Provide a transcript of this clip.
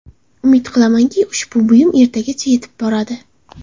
Umid qilamanki, ushbu buyum ertagacha yetib boradi”.